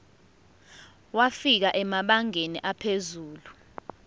wafika emabangeni aphezulu